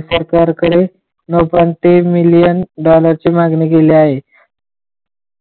सरकार कडे million dollar ची मागली केली आहे